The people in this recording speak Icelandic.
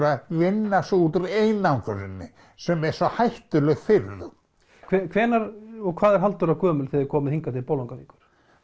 að vinna sig út úr einangruninni sem er svo hættuleg fyrir þau hvenær og hvað er Halldóra gömul þegar þið komið hingað til Bolungarvíkur